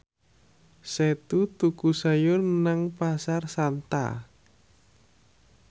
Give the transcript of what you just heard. Setu tuku sayur nang Pasar Santa